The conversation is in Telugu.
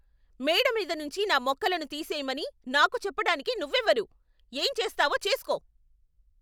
మేడ మీద నుంచి నా మొక్కలను తీసేయమని నాకు చెప్పడానికి నువ్వెవరు? ఏం చేస్తావో చేసుకో?